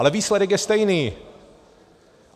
Ale výsledek je stejný.